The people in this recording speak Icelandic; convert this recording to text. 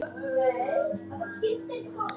Á einn hátt eða annan.